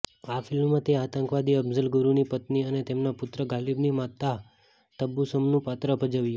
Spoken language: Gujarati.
આ ફિલ્મમાં તે આતંકવાદી અફઝલ ગુરુની પત્ની અને તેમના પુત્ર ગાલિબની માતા તબ્બસુમનું પાત્ર ભજવ્યું